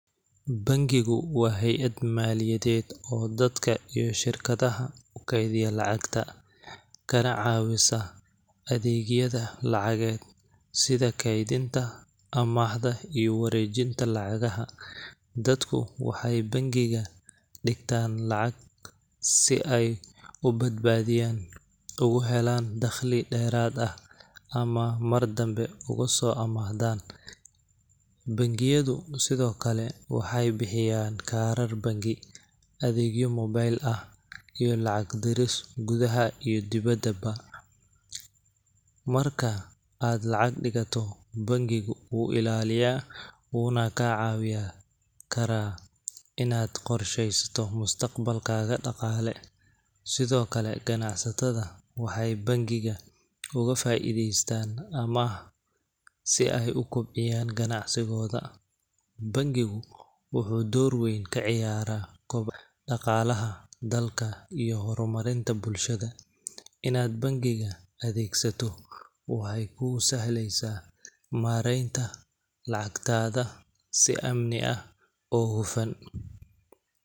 Bankigu waa hayad maaliyadeed oo dadka iyo shirkadaha ukeediya lacagta, kana caawisa adeegyada lacageed sida keedinta, amaahda iyo wareejinta lacagaha, dadku waxeey bankiga digtaan lacag si aay ubadbaadiyaan oogu helaan daqli deerad ah ama mar dambe ugu soo amaahdaan, bankiyadu sido kale waxeey bixiyaan kaarar banki, adeegyo mobeel ah iyo lacag diris gudaha iyo dibadaba, marka aad lacag digato bankigu wuu ilaaliyaa wuuna kaa caawiyaa inaad qorshesato mustaqbalkaaga daqaale, sido kale ganacsatada waxeey bankiga ugu faideestaan ama si aay ukobciyaan ganacsigooda, bankigu wuxuu door weyn kaciyaara daqaalaha dalka iyo hor marinta bulshada, inaad bankiga adeegsato waxeey kuu sahleysa mareenta lacagtaada si amni ah oo hufan.